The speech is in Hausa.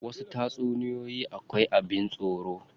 Wasu tatsuniyoyi akwai abin tsoro.